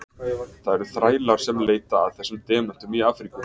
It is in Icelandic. Það eru þrælar sem leita að þessum demöntum í Afríku.